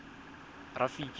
rafiki